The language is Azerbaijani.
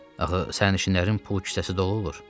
Axı sərnişinlərin pul kisəsi dolu olur.